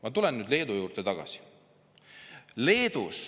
Ma tulen Leedu juurde tagasi.